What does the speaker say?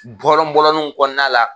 Bɔlɔn bɔlɔninw kɔnɔna la .